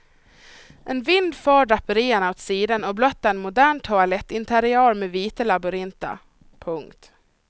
En vind för draperierna åt sidan och blottar en modern toalettinteriör med vita labyrinter. punkt